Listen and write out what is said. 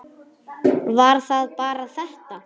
Var það bara þetta?